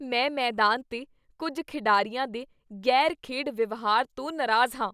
ਮੈਂ ਮੈਦਾਨ 'ਤੇ ਕੁੱਝ ਖਿਡਾਰੀਆਂ ਦੇ ਗ਼ੈਰ ਖੇਡ ਵਿਵਹਾਰ ਤੋਂ ਨਾਰਾਜ਼ ਹਾਂ